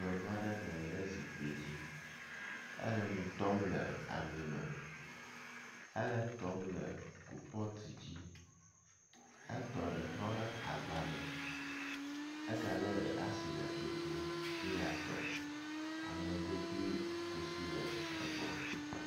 Nyɔnu aɖe nɔ anyi ɖe zikpui dzi hele nu tɔm le ami me. Hele etɔm le kopɔt dzi. Etɔ ɖe trɔɖe agba me ega le ɖe le asi le tsotsom be yeatɔ. Aŋego kple kusi le egbɔ.